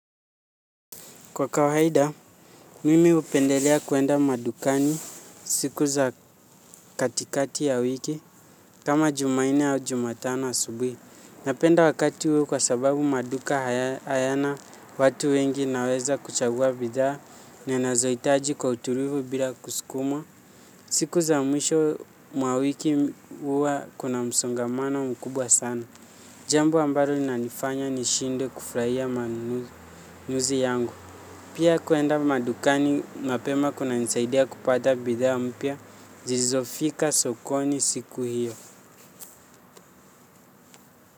Kwa kawahida, mimi hupendelea kuenda madukani siku za katikati ya wiki, kama jumanne au jumatano asubuhi. Napenda wakati huo kwa sababu maduka hayana watu wengi, naeza kuchagua bidhaa ninazohitaji kwa utulivu bila kusukumwa. Siku za mwisho mwa wiki huwa kuna msongamana mkubwa sana. Jambo ambalo linanifanya nishindwe kufurahia manunuzi yangu. Pia kuenda madukani mapema kunanisaidia kupata bidhaa mpya, zilizofika sokoni siku hiyo.